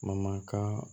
Mamaka